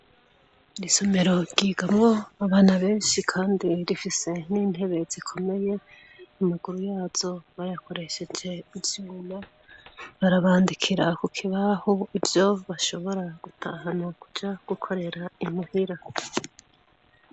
Isomero ryigamwo abana benshi kandi zifise n'intebe zikomeye, amaguru yazo bayakoresheje ivyuma, barabandikira ku kibaho ivyo bashobora gutahana kuja gukorera imuhira.